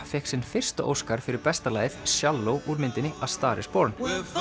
fékk sinn fyrsta óskar fyrir besta lagið Shallow úr myndinni a star is Born